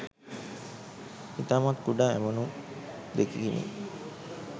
ඉතාමත් කුඩා ඇමුණුම් 2කිනි.